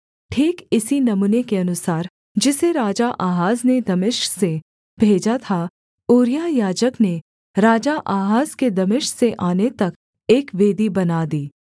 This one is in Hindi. ठीक इसी नमूने के अनुसार जिसे राजा आहाज ने दमिश्क से भेजा था ऊरिय्याह याजक ने राजा आहाज के दमिश्क से आने तक एक वेदी बना दी